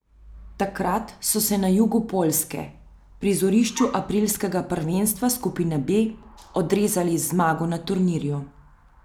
Takrat so se na jugu Poljske, prizorišču aprilskega prvenstva skupine B, odrezali z zmago na turnirju.